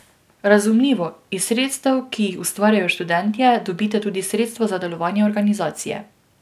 Razumljivo, iz sredstev, ki jih ustvarijo študentje, dobite tudi sredstva za delovanje organizacije.